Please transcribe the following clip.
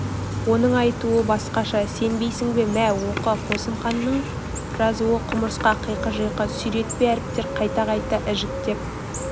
оның айтуы басқаша сенбейсің бе мә оқы қосымханның жазуы құмырсқа қиқы-жиқы сүйретпе әріптер қайта-қайта ежіктеп